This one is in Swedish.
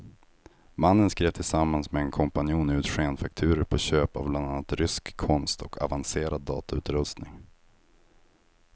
Mannen skrev tillsammans med en kompanjon ut skenfakturor på köp av bland annat rysk konst och avancerad datautrustning.